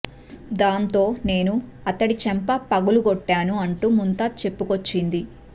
దాంతో నేను అతడి చెంప పగుల కొట్టాను అంటూ ముంతాజ్ చెప్పుకొచ్చింది